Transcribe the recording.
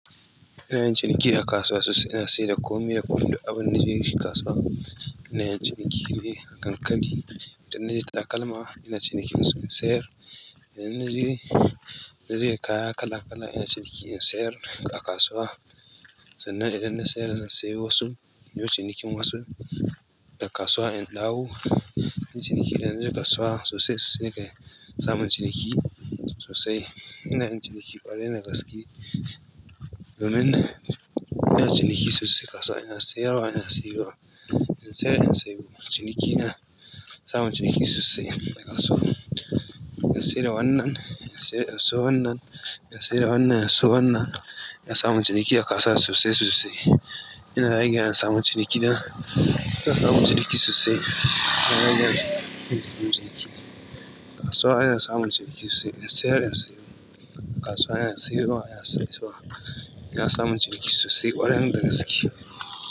Ina yin ciniki a kasuwa sosai. Ina sayar da komai da kwaf da abinda na je yin shi kasuwa. Ina yin ciniki ne a kan ƙari idan na je takalma, ina cinikinsu in sayar. Idan na je, na je da kaya kala-kala ina cinikin su in sayar a kasuwa. Sannan idan na sayar zan sayi wasu. Inyo cinikin wasu a kasuwa in dawo. Ciniki idan na je kasuwa sosai suna ga samun ciniki sosai. Ina yin ciniki ƙwarai da gaske domin ina ciniki sosai a kasuwa ina sayarwa ina sayarwa. Ina saya in sayar ciniki ina samun ciniki sosai a kasuwa. Ina saida wannan, in siyo wannan, ina sayar wannan ina siyo wannan. Ina samun ciniki a kasuwa sosai sosai. Ina rage ana samun ciniki na, ina samun ciniki sosai. Ciniki. Kasuwa ana samun ciniki sosai. In sayar in sayo. Kasuwa ana sayarwa ana siyo. Ina samun ciniki sosai ƙwarai da gaske.